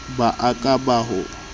ba a ka ba o